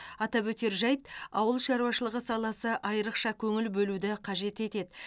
атап өтер жайт ауыл шаруашылығы саласы айрықша көңіл бөлуді қажет етеді